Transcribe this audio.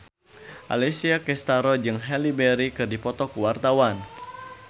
Alessia Cestaro jeung Halle Berry keur dipoto ku wartawan